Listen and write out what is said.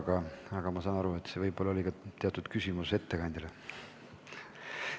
Saan siiski aru, et võib-olla sisaldus siin ka teatud küsimus ettekandjale.